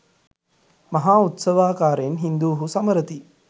මහා උත්සවාකාරයෙන් හින්දුහු සමරති